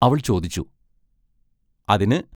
അവൾ ചോദിച്ചു: അതിന്?